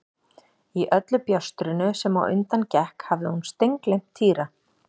Í öllu bjástrinu sem á undan gekk hafði hún steingleymt Týra.